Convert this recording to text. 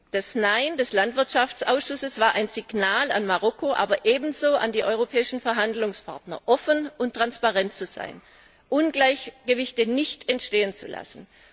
Das Nein des Landwirtschaftsausschusses war ein Signal an Marokko, aber ebenso an die europäischen Verhandlungspartner, offen und transparent zu sein, Ungleichgewichte nicht entstehen zu lassen.